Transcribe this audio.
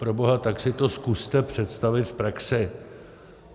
Proboha, tak si to zkuste představit v praxi.